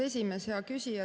Hea küsija!